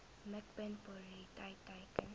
mikpunt prioriteit teiken